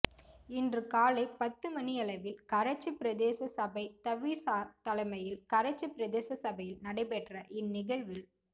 இன்று காலை பத்துமணியளவில் கரைச்சி பிரதேச சபை தவிசார் தலைமையில் கரைச்சி பிரதேச சபையில் நடைபெற்ற இன் நிகழ்வில்